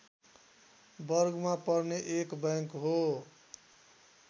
वर्गमा पर्ने एक बैंक हो